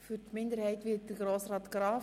Für die SiK-Minderheit spricht Grossrat Graf.